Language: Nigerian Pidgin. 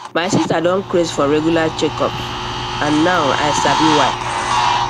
my sister don craze for regular checkup and now i sabi why